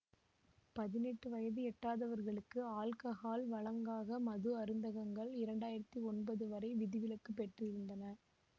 பதினெட்டு வயது எட்டாதவர்களுக்கு ஆல்கஹால் வழங்காக மது அருந்தகங்கள் இரண்டு ஆயிரத்தி ஒன்பது வரை விதிவிலக்கு பெற்றிருந்தன